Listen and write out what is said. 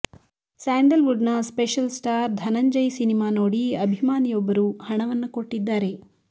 sandal wood ನ special star Dhananjay cinema ನೋಡಿ ಅಭಿಮಾನಿಯೊಬ್ಬರು ಹಣವನ್ನ ಕೊಟ್ಟಿದ್ದಾರೆ